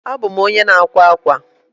abum onye na akwa akwa.